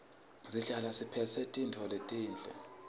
sihlale siphetse tintfo letinhle